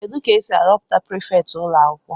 Kedu ka esi ahọpụta prifétị ụlọ akwụkwọ